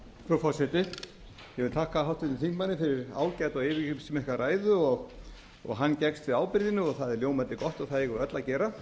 vil þakka háttvirtum þingmanni fyrir ágæta og yfirgripsmikla ræðu og hann gekkst við ábyrgðinni og það er ljómandi gott og það eigum við öll að gera